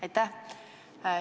Aitäh!